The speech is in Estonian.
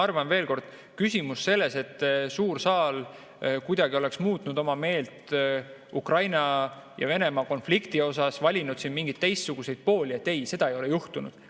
Ma arvan, veel kord, et küsimus selles, et suur saal kuidagi oleks muutnud oma meelt Ukraina ja Venemaa konflikti osas, valinud siin mingeid teistsuguseid pooli – ei, seda ei ole juhtunud.